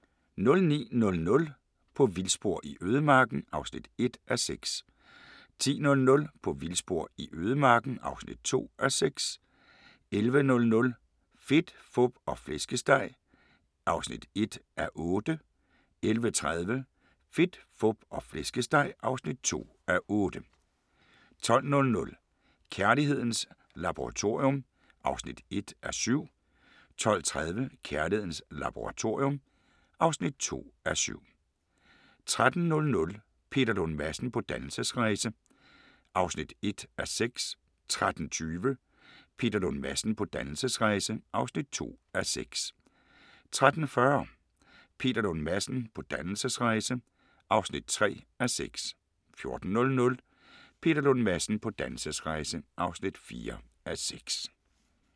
09:00: På vildspor i ødemarken (1:6) 10:00: På vildspor i ødemarken (2:6) 11:00: Fedt, fup og flæskesteg (1:8) 11:30: Fedt, Fup og Flæskesteg (2:8) 12:00: Kærlighedens Laboratorium (1:7) 12:30: Kærlighedens Laboratorium (2:7) 13:00: Peter Lund Madsen på dannelsesrejse (1:6) 13:20: Peter Lund Madsen på dannelsesrejse (2:6) 13:40: Peter Lund Madsen på dannelsesrejse (3:6) 14:00: Peter Lund Madsen på dannelsesrejse (4:6)